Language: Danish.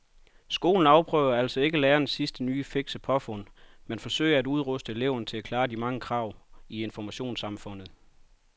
Skolen afprøver altså ikke lærernes sidste nye fikse påfund men forsøger at udruste eleverne til at klare de mange krav i informationssamfundet.